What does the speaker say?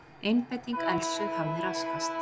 Einbeiting Elsu hafði raskast.